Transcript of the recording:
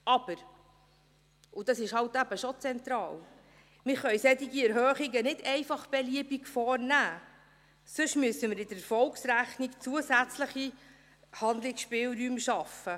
Aber – und dies ist halt eben schon zentral – solche Erhöhungen können wir nicht einfach beliebig vornehmen, sonst müssen wir in der Erfolgsrechnung zusätzliche Handlungsspielräume schaffen.